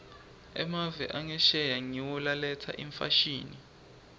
emave angesheya ngiwo laletsa imfashini